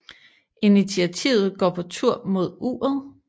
Initiativet går på tur mod uret